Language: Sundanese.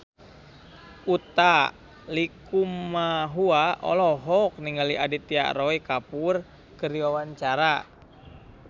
Utha Likumahua olohok ningali Aditya Roy Kapoor keur diwawancara